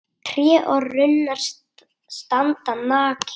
Tré og runnar standa nakin.